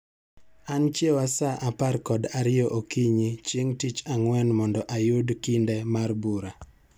An chiewa saa apar kod ariyo okinyi chieng' tich ang'wen mondo ayud kinde mar bura